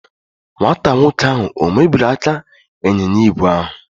Nwata nwoke ahụ ọ̀ mebiri aka ịnyịnya ígwè ahụ?